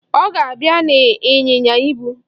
Ọ ga-abịa n'ịnyịnya ibu.